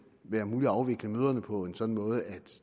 være muligt at afvikle møderne på en sådan måde at